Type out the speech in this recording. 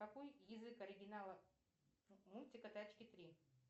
какой язык оригинала мультика тачки три